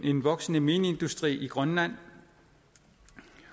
en voksende mineindustri i grønland